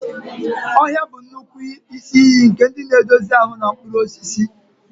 Ọhịa bụ nnukwu isi iyi nke nri na-edozi ahụ, na mkpụrụ osisi.